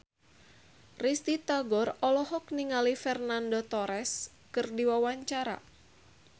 Risty Tagor olohok ningali Fernando Torres keur diwawancara